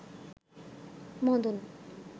Madan